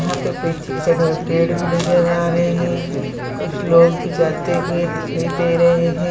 यहाँ पे पीछे की साइड में पेड़ भी नज़र आ रहे हैं कुछ लोग भी जाते हुए दिखाई दे रहे --